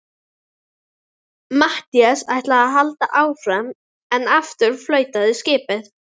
Matthías ætlar að halda áfram en aftur flautar skipið.